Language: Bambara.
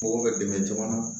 Mɔgɔw bɛ dɛmɛ jamana